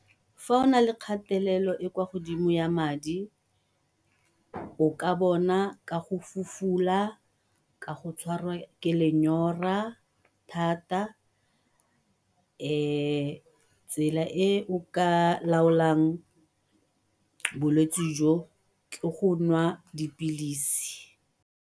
Fa o nale kgatelelo e kwa godimo ya madi o ka bona ka go fufula, ka go tshwarwa ke lenyora thata, tsela e o ka laolang bolwetsi jo ke go nwa dipilisi.